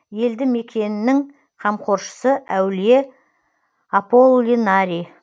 елді мекеннің қамқоршысы әулие аполлинарий